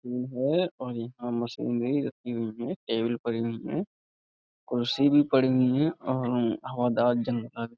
हैं और यहाँ मशीनरी रखी हुई है। टेबल पर यहीं है। कुर्सी भी पड़ी हैं और हवादार जंगला भी।